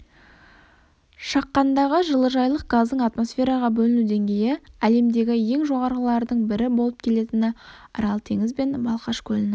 шаққандағы жылыжайлық газдың атмосфераға бөліну деңгейі әлемдегі ең жоғарылардың бірі болып келетіні арал теңізі мен балқаш көлінің